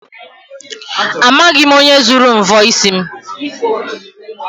Amaghị m onye zuru mvọ isi m.